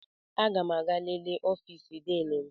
Aga m aga lelee ọfịs Diini m.